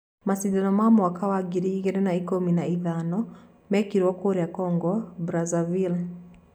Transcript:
Macindano ma mwaka wa ngiri igĩrĩ na ikũmi na ithano mekĩro kũrĩa Congo Brazzaville